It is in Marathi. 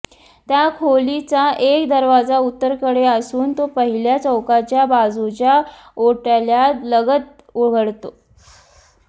त्या खोलीचा एक दरवाजा उत्तरेकडे असून तो पहिल्या चौकाच्या बाजूच्या ओट्यालगत उघडतो